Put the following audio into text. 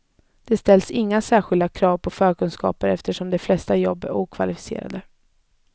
Det ställs inga särskilda krav på förkunskaper eftersom de flesta jobb är okvalificerade.